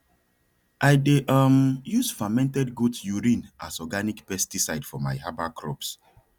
i dey um use fermented goat urine as organic pesticide for my herbal crops